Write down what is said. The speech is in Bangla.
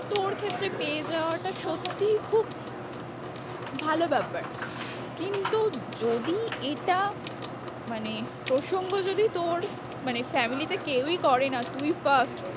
তোর ক্ষেত্রে পেয়ে যাওয়াটা সত্যি খুব ভালো ব্যাপার কিন্তু যদি এটা মানে প্রসঙ্গ যদি তোর মানে family তে কেওই করে না তুই first